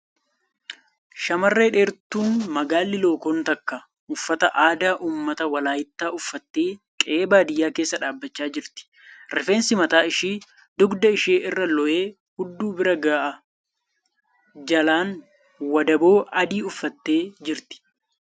Shamarreen dheertuun magaalli lookoon takka uffata aadaa uummata Walaayittaa uffatte qe'ee baadiyyaa keessa dhaabbachaa jirti. Rifeensi mataa ishee dugda ishee irra looyee hudduu bira ga'a. Jalaan wandaboo adii uffattee jirti.